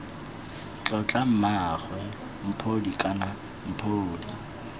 tlotla mmaagwe mphodi kana mphodi